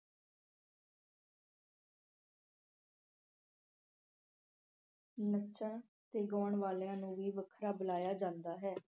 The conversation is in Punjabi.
ਨੱਚਣ ਤੇ ਗਾਉਣ ਵਾਲਿਆਂ ਨੂੰ ਵੀ ਵੱਖਰਾ ਬੁਲਾਇਆ ਜਾਂਦਾ ਹੈ।